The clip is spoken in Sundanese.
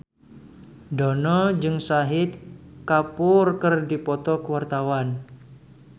Dono jeung Shahid Kapoor keur dipoto ku wartawan